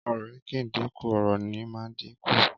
Ọrẹ ki ń din kú, ọrọ ni mà ń dín kú